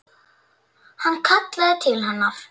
Hann kallaði til hennar.